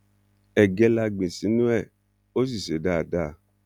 ẹgẹ la gbìn sínú ẹ ó sì ṣe dáadáa